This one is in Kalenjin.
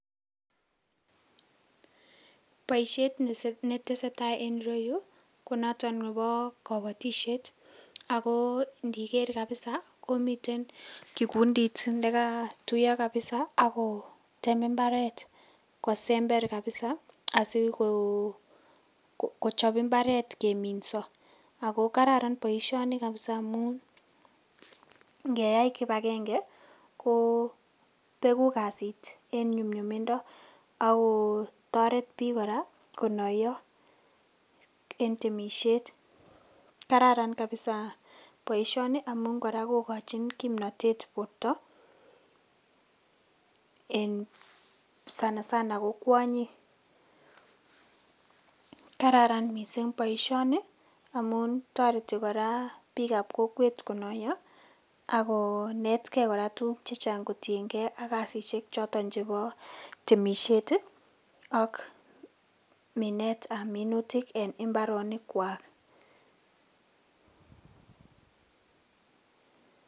Boishet missing' netesee taa en ireyu konoton nebo kobotishet, ako indiker kabisa komiten kikundit nekotuyo kabisa akotem imbaret kosember kabisa asikochop imbaret keminso, ako kararan boisioni kabisa amun ingeyai kipagenge kobegu kasit en nyumnyumindo akotoret bik koraa konoyo en temishet kararan kabisa boisioni amun koraa kokochin kimnotet borto, en sana sana ko kwonyik, amun toreti koraa bikab kokwet konoyo akonetgee koraa tuguk chechang kotiengee kasishek choton chebo temishet ii ak minetab minutik en imbaronikwak.